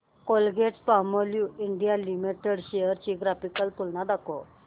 Colgate Palmolive India limited shares ची graphical तुलना दाखव